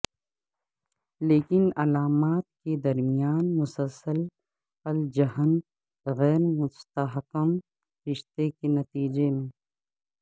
لیکن علامات کے درمیان مسلسل الجھن غیر مستحکم رشتے کے نتیجے میں